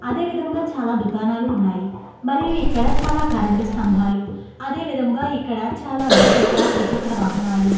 అదే విధముగా చాలా దుఖానాలు ఉన్నాయి మరియు ఇక్కడ చాలా కరెంటు స్తంభాలు అదే విధముగా ఇక్కడ చాలా ద్వ్విచక్ర త్రిచక్ర వాహనాలు --